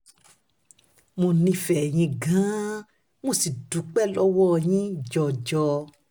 mo nífẹ̀ẹ́ yín gan-an mo sì dúpẹ́ lọ́wọ́ yín um jọjọ